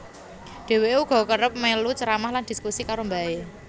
Dheweke uga kerep melu ceramah lan dhiskusi karo mbahe